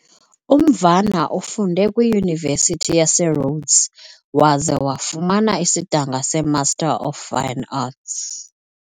UMvana ufunde kwiYunivesithi yaseRhodes waze wafumana isidanga seMaster of Fine Arts .